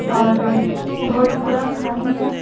और रोड पूरा खाली है।